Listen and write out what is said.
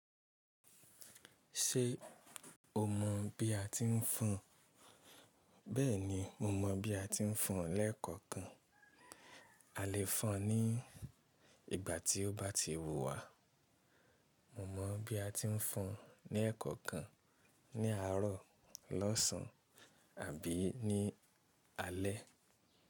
Ṣé o mọ̀ bí a ti ń fọn? Bẹ́ẹ̀ni, mo mọ̀ bí a ti ń fọn lẹ́ẹ̀kọ̀ọkan. A lè fọn ní ìgbà tí ó bá ti wúwa. Mo mọ̀ bí a ti ń fọn ní ẹ̀kọ̀ọkan, ní àárọ̀, lọ́sàn àbí ní alé.